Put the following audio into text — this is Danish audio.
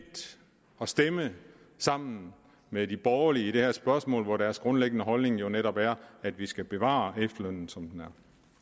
at stemme sammen med de borgerlige i det her spørgsmål hvor deres grundlæggende holdning jo netop er at vi skal bevare efterlønnen som den